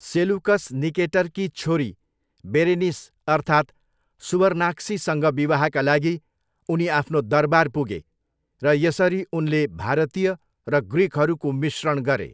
Seleucus निकेटरकी छोरी Berenice अर्थात् सुवर्नाक्सीसँग विवाहका लागि उनी आफ्नो दरबार पुगे र यसरी उनले भारतीय र ग्रिकहरूको मिश्रण गरे।